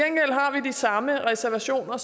samme reservationer